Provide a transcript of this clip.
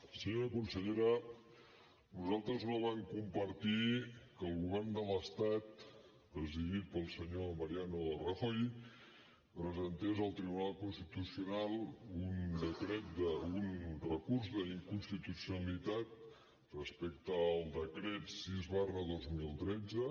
senyora consellera nosaltres no vam compartir que el govern de l’estat presidit pel senyor mariano rajoy presentés al tribunal constitucional un recurs d’inconstitucionalitat respecte al decret sis dos mil tretze